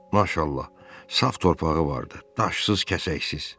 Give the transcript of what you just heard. Maşallah, saf torpağı vardı, daşsız-kəsəksiz.